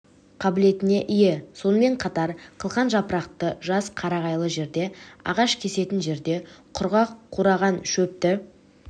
қабілетіне ие сонымен қатар қылқан жапырақты жас қарағайлы жерде ағаш кесетін жерде құрғақ қураған шөпті